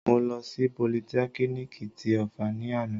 Mo lọ sí politẹ́kínìkì ti Ọ̀fà ni àná